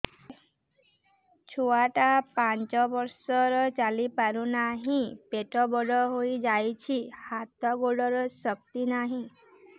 ଛୁଆଟା ପାଞ୍ଚ ବର୍ଷର ଚାଲି ପାରୁନାହଁ ପେଟ ବଡ ହୋଇ ଯାଉଛି ହାତ ଗୋଡ଼ର ଶକ୍ତି ନାହିଁ